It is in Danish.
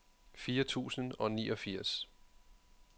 fire tusind og niogfirs